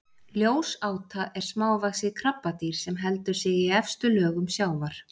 ljósáta er smávaxið krabbadýr sem heldur sig í efstu lögum sjávar